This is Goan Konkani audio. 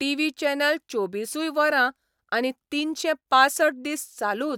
टीव्ही चॅनल चोबिसूय वरां आनी तीनशे पांसठ दीस चालूच.